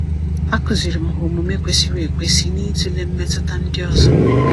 A kụziiri m ha omume kwesịrị ekwesị na ịtụle mmetụta ndị ọzọ.